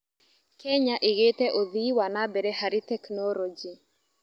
Kenya ĩgĩte ũthii wa na mbere harĩ tekinoronjĩ.